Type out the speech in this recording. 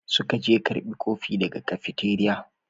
Suka je karbi kofi daga cafeteria.